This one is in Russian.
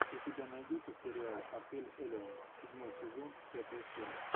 у тебя найдется сериал отель элеон седьмой сезон пятая серия